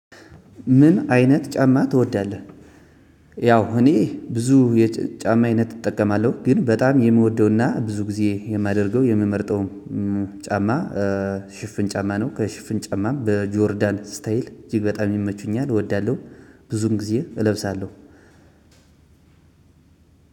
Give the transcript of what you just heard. ምን አይነት ጫማ ትወዳለህ? ያው እኔ ብዙ የጫማ አይነት እጠቀማለሁ ግን በጣም የምወደውና ብዙ ጊዜ የማደርገው የምመርጠው ጫማ ሽፍን ጫማ ነው ከሽፍን ጨማም በጆርዳን ስታይል እጅግ በጣም ይመቹኛል እወዳለሁ። ብዙን ጊዜ እለብሳለሁ።